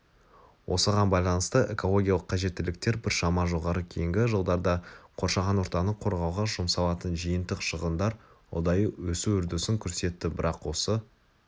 осыған байланысты экологиялық қажеттіліктер біршама жоғары кейінгі жылдарда қоршаған ортаны қорғауға жұмсалатын жиынтық шығындар ұдайы өсу үрдісін көрсетті бірақ осы